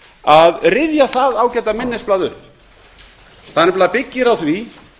að rifja það ágæta minnisblað upp það nefnilega byggir á því